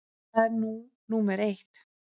Það er nú númer eitt.